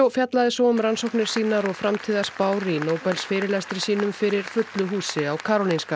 fjallaði svo um rannsóknir sínar og framtíðarspár í Nóbelsfyrirlestri sínum fyrir fullu húsi á Karolinska